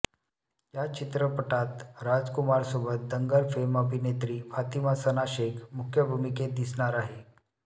या चित्रपटात राजकुमारसोबत दंगल फेम अभिनेत्री फातिमा सना शेख मुख्य भूमिकेत दिसणार आहे